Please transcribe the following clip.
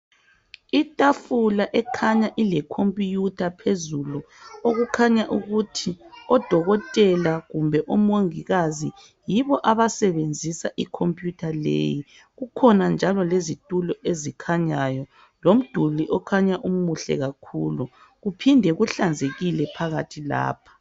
Itafula ekhanya ilekhompiyutha phezulu, okukhanya ukuthi odokotela kumbe omongikazi , yibo abasebenzisa ikhompiyutha leyi. Kukhona njalo lezitolo ezikhanyayo., lomduli okhanya umuhle kakhulu, kuphinde kuhlanzekile phakathi lapha.